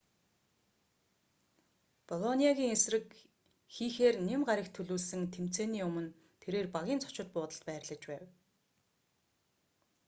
болониагийн эсрэг хийхээр ням гарагт төлөвлөсөн тэмцээний өмнө тэрээр багийн зочид буудалд байрлаж байв